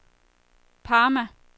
Parma